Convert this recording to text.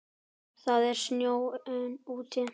Það snjóaði enn úti.